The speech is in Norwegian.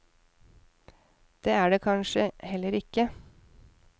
Det er det kanskje heller ikke.